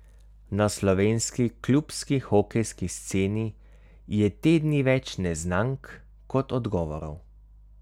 Na slovenski klubski hokejski sceni je te dni več neznank kot odgovorov.